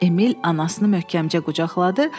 Emil anasını möhkəmcə qucaqladı.